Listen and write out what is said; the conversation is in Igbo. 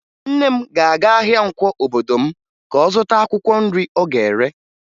Nne m ga-aga ahịa Nkwọ obodo m ka ọ zụta akwụkwọ nri ọ ga-ere